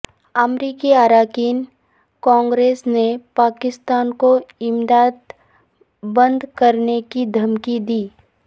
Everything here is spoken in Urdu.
امریکی اراکین کانگریس نے پاکستان کو امداد بند کرنے کی دھمکی دی